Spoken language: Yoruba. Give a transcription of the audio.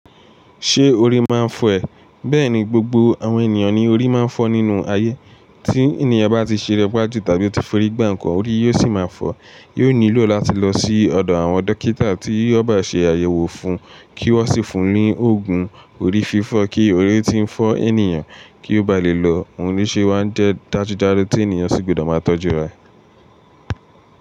Ṣé orí máa ń fọ́ ẹ? Bẹ́ẹ̀ ni, gbogbo àwọn ènìyàn ni orí máa ń fọ́ nínú ayé. Tí ènìyàn bá ti ṣeré pa jú tàbí to forí gba nkàn, orí yóò sì máa fọ́. Yóò nílò láti lọ sí ọ̀dọ̀ àwọn dókítà tí ó bá ṣe àyẹ̀wò fún un kí wọ́n sì fún un ní òògùn orí fífọ́. Kí orí tí ń fọ́ ènìyàn kí ó ba lè lọ, òun ni ṣe wá ń jẹ́ dájúdájú tí ènìyàn sì gbọdọ̀ máa tọ́jú rẹ̀.